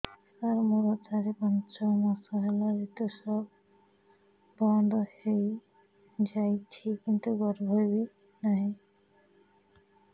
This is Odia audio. ସାର ମୋର ଚାରି ପାଞ୍ଚ ମାସ ହେଲା ଋତୁସ୍ରାବ ବନ୍ଦ ହେଇଯାଇଛି କିନ୍ତୁ ଗର୍ଭ ବି ନାହିଁ